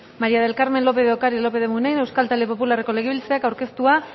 maría del carmen lópez de ocariz lópez de munain euskal talde popularreko legebiltzarkideak aurkeztutako